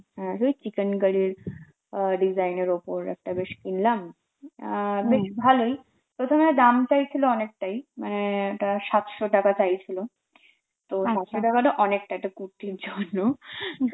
হ্যাঁ সেই চিকেনকারীর আ design এর ওপর একটা বেশ কিনলাম আর বেশ ভালই, প্রথমে দাম চাইছিল অনেকটাই মানে ওটা সাতশো টাকা চাইছিল, তো সাতশো টাকাটা একটা কুর্তির জন্য